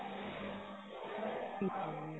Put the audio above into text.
ਠੀਕ ਏ ਜੀ